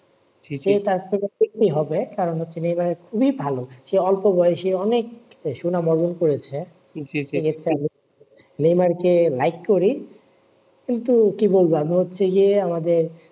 সেই দেখতে হবে কারণ হচ্ছে নেমার খুবই ভালো সে অল্প বয়সে অনেক শুনাম অর্জন করেছে নেইমার কে like করি কিন্তু কি বলব আমি হচ্ছি